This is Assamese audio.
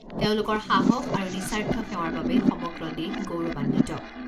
তেওঁলোকৰ সাহস আৰু তেওঁলোকৰ সাহস আৰু নিস্বাৰ্থ সেৱাৰ বাবে সমগ্ৰ দেশ গৌৰৱান্বিত।